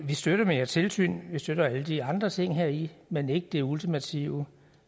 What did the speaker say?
vi støtter mere tilsyn vi støtter alle de andre ting heri men ikke det ultimative